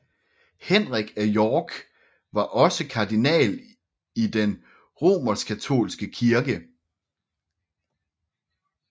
Henrik af York var også kardinal i den Romerskkatolske kirke